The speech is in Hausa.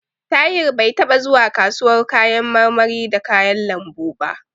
Tahir bai taɓa zuwa kasuwar kayan marmari da kayan lambu ba.